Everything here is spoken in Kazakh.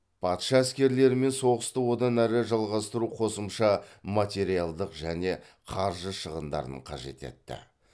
патша әскерлерімен соғысты одан әрі жалғастыру қосымша материалдық және қаржы шығындарын қажет етті